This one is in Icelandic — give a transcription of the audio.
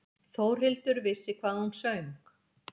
Þórhildur vissi hvað hún söng.